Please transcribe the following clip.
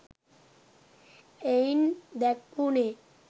එයින් දැක්වුනේ